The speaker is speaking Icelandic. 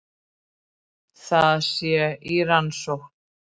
Það sé í rannsókn